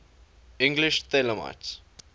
english thelemites